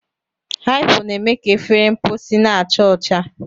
Hypo na-eme ka efere mposi na-acha ọcha.